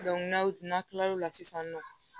n'aw n'a kilal'o la sisan nɔ